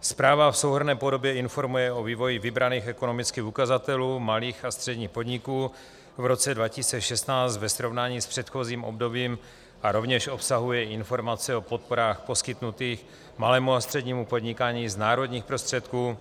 Zpráva v souhrnné podobě informuje o vývoji vybraných ekonomických ukazatelů malých a středních podniků v roce 2016 ve srovnání s předchozím obdobím a rovněž obsahuje informace o podporách poskytnutých malému a střednímu podnikání z národních prostředků